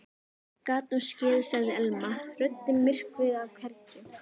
Gat nú skeð sagði Elma, röddin myrkvuð af kergju.